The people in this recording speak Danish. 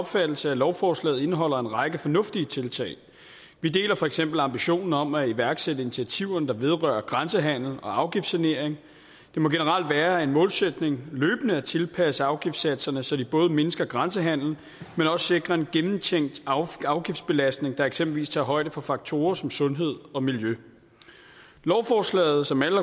opfattelse at lovforslaget indeholder en række fornuftige tiltag vi deler for eksempel ambitionen om at iværksætte initiativerne der vedrører grænsehandel og afgiftssanering det må generelt være en målsætning løbende at tilpasse afgiftssatserne så de både mindsker grænsehandel men også sikrer en gennemtænkt afgiftsbelastning der eksempelvis tager højde for faktorer som sundhed og miljø lovforslaget som alle